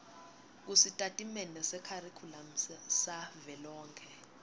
kusitatimende sekharikhulamu savelonkhe